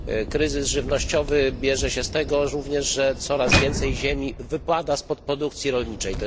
Kryzys żywnościowy bierze się również z tego również, że coraz więcej ziemi wypada spod produkcji rolniczej.